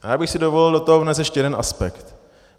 A já bych si dovolil do toho vnést ještě jeden aspekt.